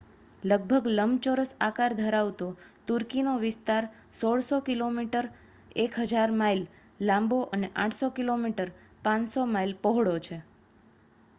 લગભગ લંબચોરસ આકાર ધરાવતો તુર્કીનો વિસ્તાર 1,600 કિલોમીટર 1,000 માઇલ લાંબો અને 800 કિમી 500 માઇલ પહોળો છે